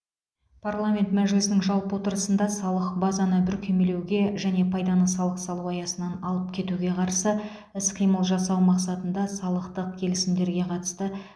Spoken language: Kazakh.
парламент мәжілісінің жалпы отырысында салық базаны бүркемелеуге және пайданы салық салу аясынан алып кетуге қарсы іс қимыл жасау мақсатында салықтық келісімдерге қатысты